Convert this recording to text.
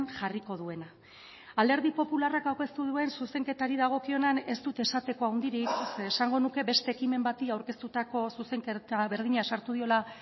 jarriko duena alderdi popularrak aurkeztu duen zuzenketari dagokionean ez dut esateko handirik zeren eta esango nuke beste ekimen bati aurkeztutako zuzenketa berdina sartu diola